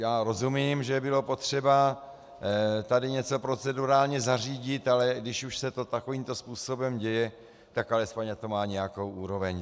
Já rozumím, že bylo potřeba tady něco procedurálně zařídit, ale když už se to takovýmto způsobem děje, tak alespoň ať to má nějakou úroveň.